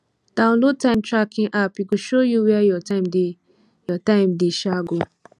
download time tracking app e go show you where your time dey your time dey um go